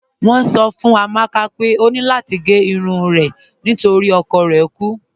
Wọn sọ̀ fún Amàkà pé ọ ní lati gé irun rẹ̀ nítorí ọkọ̀ rẹ̀ kú